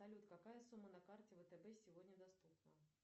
салют какая сумма на карте втб сегодня доступна